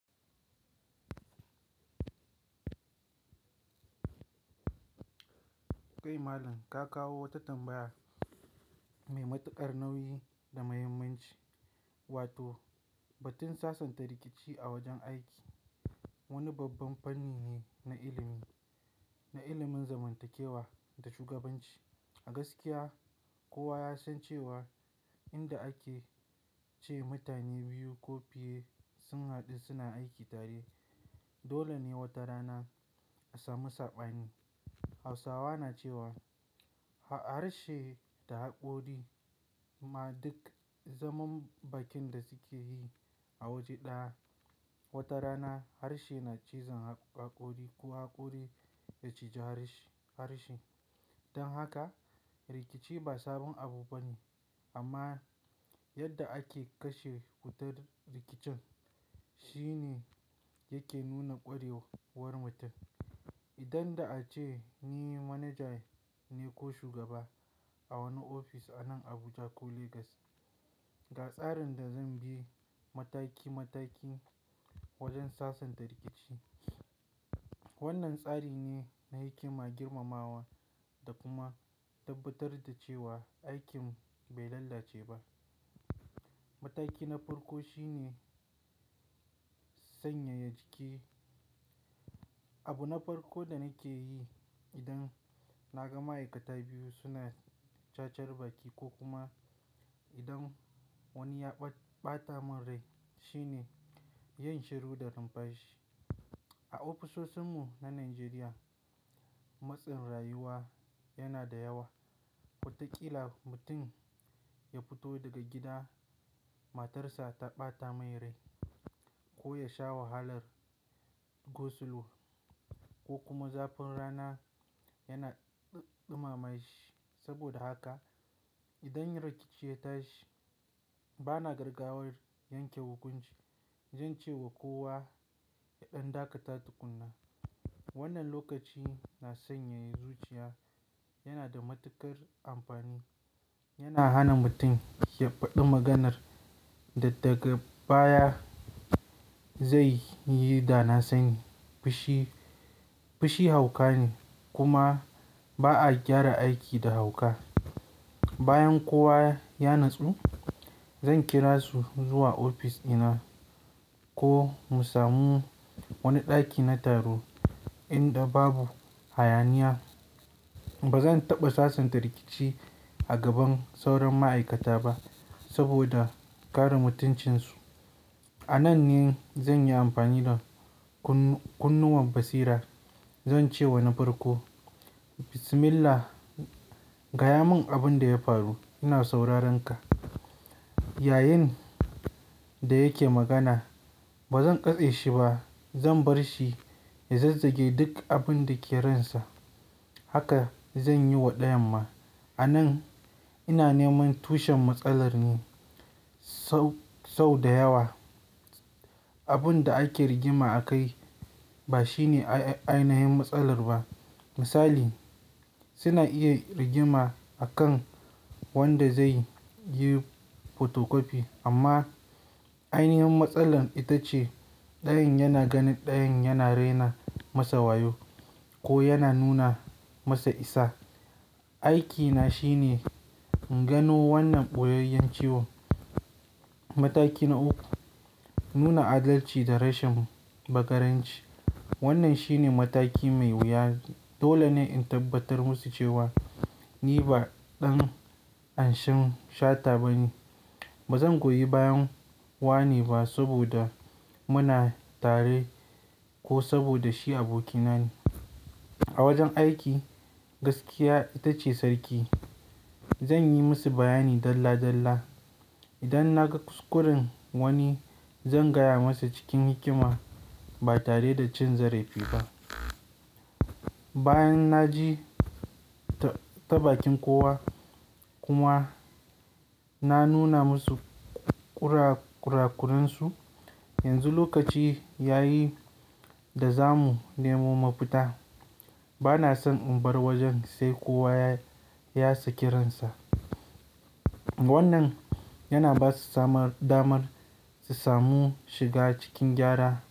Kai Malam, ka kawo wata tambaya mai matuƙar nauyi da muhimmanci wato batun sasanta rikici a wajen aiki. Wani babban fanni ne na ilimi, na ilimin zamantakewa da shugabanci. A gaskiya kowa ya san cewa inda ake ce mutane biyu ko fiye sun haɗu suna aiki tare, dole ne wata rana a samu saɓani. Hausawa na cewa harshe da haƙori ma duk zaman bakin da suke yi a waje ɗaya, wata rana harshe na cizon haƙori ko haƙori ya cije harshe harshe. Dan haka rikici ba sabon abu bane amma yadda ake kashe wutar rikicin shine yake nuna ƙwarewar mutum. Idan da ace ni manaja ne ko shugaba a wani ofis a nan Abuja ko Legas, ga tsarin da zan bi mataki mataki wajen sasanta rikici. Wannan tsari ne na hikima, girmamawa da kuma tabbatar da cewa aikin bai lalace ba. Mataki na farko shine sanyaya jiki. Abu na farko da nake yi idan na ga ma'aikata biyu suna cacar baki ko kuma idan wani ya ɓata min rai shine yin shiru da numfashi. A ofisoshin mu na Najeriya matsin rayuwa yana da yawa. Wataƙila mutum ya fito daga gida matar sa ta ɓata mai rai ko ya sha wahalar go slow ko kuma zafin rana yana ɗuma ma shi. Saboda haka idan rikici ya tashi bana gargawar yanke hukunci. Zan ce wa kowa ya ɗan dakata tukunna. Wannan lokaci na sanyaya zuciya yana da matuƙar amfani. Yana hana mutum ya faɗi maganar da daga baya zai yi dana sani. Fushi, fushi hauka ne kuma ba a gyara aiki da hauka. Bayan kowa ya natsu zan kira su zuwa ofis ina ko mu samu wani ɗaki na taro inda babu hayaniya. Ba zan taɓa sasanta rikici a gaban sauran ma'aikata ba saboda kare mutuncinsu. A nan ne zan yi amfani da kunnuwan basira. Zan ce wa na farko "Bismillah, gaya mun abin da ya faru. Ina sauraranka." Yayinda yake magana ba zan katse shi ba. Zan bar shi ya zazzage duk abin da ke ransa. Haka zan yi wa ɗayan ma. A nan ina neman tushen matsalar ne sau, sau da yawa abin da ake rigima akai ba shine ainihin matsalar ba. Misali suna iya rigima a kan wanda zai yi fotokofi amma ainihin matsalar ita ce ɗayan yana ganin ɗayan yana raina masa wayo ko yana nuna masa isa. Aiki na shine in gano wannan ɓoyayyun ciwo. Mataki na uku, nuna adalci da rashin bakaranci. Wannan shine mataki mai wuya. Dole ne in tabbatar musu cewa ni ba ɗan anshen shata bane. Ba zan goyi bayan wane ba saboda muna tare ko saboda shi abokina ne. A wajen aiki gaskiya ita ce sarki. Zan yi musu bayani dalla dalla. Idan na ga kuskuren wani zan gaya masa cikin hikima ba tare da cin zarefi ba. Bayan na ji taɓaƙin kowa kuma na nuna musu kurakurunsu, yanzu lokaci ya yi da za mu nemo mafita. Bana son in bar wajen sai kowa ya saki ransa. Wannan yana ba su damar su samu shiga cikin gyara.